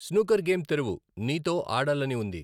snooker game తెరువు, నీతో ఆడాలని ఉంది